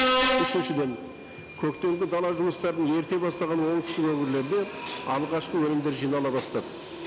үшіншіден көктемгі дала жұмыстарын ерте бастаған оңтүстік өңірлерде алғашқы өнімдер жинала бастады